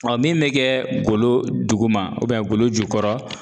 min be kɛ golo duguma golo jukɔrɔ